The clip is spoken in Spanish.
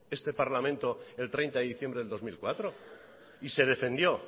este parlamento el treinta de diciembre del dos mil cuatro y se defendió